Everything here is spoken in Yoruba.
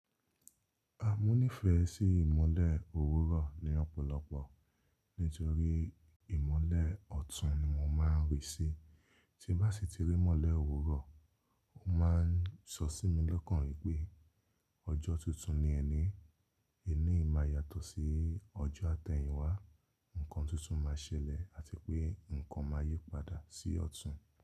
A mo nífẹ̀ẹ́ sí ìmọ́lẹ̀ òwúrọ̀ ni ọ̀pọ̀lọpọ̀ nítorí ìmọ́lẹ̀ ọ̀tún ni mo máa ń rí sí. Tí bá sì ti rí imọ́lẹ̀ òwúrọ̀, ó máa ń sọ sí mi lọ́kàn rí pé ọjọ́ tuntun ni ẹni, ení yi máa yàtọ̀ sí ọjọ́ àtẹ̀yìn wá, ǹkan tuntun máa ṣẹlẹ̀ àti pé ǹkan máa yípadà sí ọ̀tún.